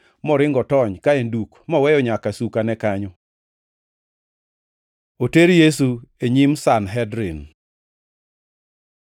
moringo otony ka en duk, moweyo nyaka sukane kanyo. Oter Yesu e nyim Sanhedrin